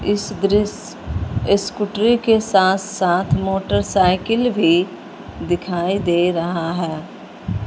इस दृश्य स्कूटरी के साथ साथ मोटरसाइकिल भी दिखाई दे रहा है।